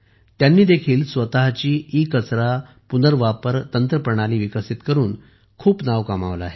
त्यांनी देखील स्वतःची ईकचरा पुनर्वापर तंत्रप्रणाली विकसित करून खूप नाव कमावले आहे